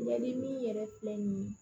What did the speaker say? Yali min yɛrɛ filɛ nin ye